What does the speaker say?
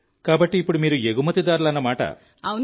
కాబట్టి ఇప్పుడు మీరు ఎగుమతిదారులన్నమాట